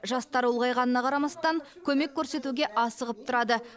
жастары ұлғайғанына қарамастан көмек көрсетуге асығып тұрады